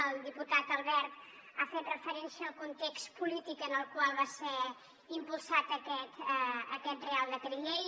el diputat albert ha fet referència al context polític en el qual va ser impulsat aquest reial decret llei